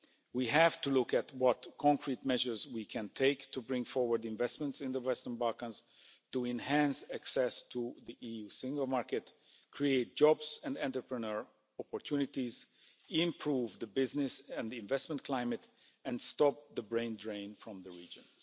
We have to look at what concrete measures we can take to bring forward investments in the Western Balkans, to enhance access to the EU single market, create jobs and entrepreneur opportunities, improve the business and the investment climate and stop the brain drain from the region.